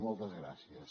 moltes gràcies